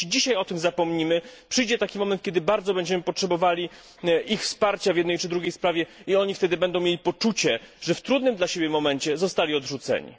Jeśli dzisiaj o tym zapomnimy, przyjdzie taki moment, kiedy bardzo będziemy potrzebowali ich wsparcia w jednej czy drugiej sprawie, i oni wtedy będą mieli poczucie, że w trudnym dla nich momencie zostali odrzuceni.